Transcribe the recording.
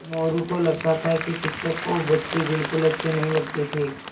मोरू को लगता था कि शिक्षक को बच्चे बिलकुल अच्छे नहीं लगते थे